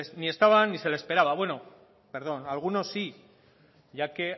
ni estaban ni se le esperaba bueno perdón a algunos sí ya que